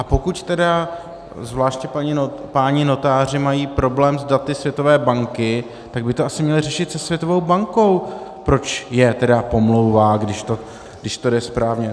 A pokud tedy zvláště páni notáři mají problém s daty Světové banky, tak by to asi měli řešit se Světovou bankou, proč je tedy pomlouvá, když to jde správně.